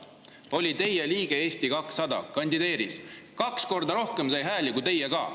Ta oli teie, Eesti 200 liige, kandideeris, sai kaks korda rohkem hääli kui teie.